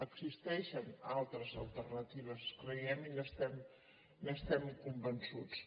existeixen altres alternatives ho creiem i n’estem convençuts